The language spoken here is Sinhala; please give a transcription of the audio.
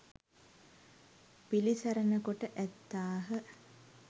පිළිසරණ කොට ඇත්තාහ.